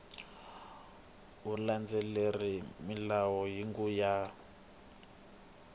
u landzelerile milawu hinkwayo ya